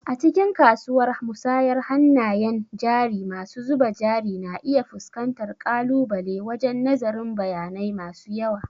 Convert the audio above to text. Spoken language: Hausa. A cikin kasuwar musayar hannayen jari masu zuba jari na iya fuskantar ƙalubale wajen nazarin bayanai masu yawa.